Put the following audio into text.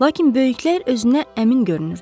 Lakin böyüklər özünə əmin görünürdülər.